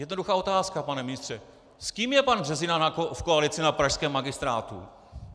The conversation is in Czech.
Jednoduchá otázka, pane ministře: S kým je pan Březina v koalici na pražském magistrátu?